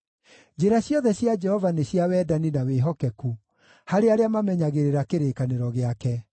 Njĩra ciothe cia Jehova nĩ cia wendani na wĩhokeku, harĩ arĩa mamenyagĩrĩra kĩrĩkanĩro gĩake.